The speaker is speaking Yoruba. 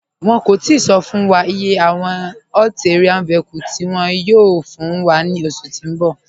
Wọn kò tìí sọ̀ fún wà iye awọn ATV tí wọn yóò fún wà ni oṣù tí n bọ̀.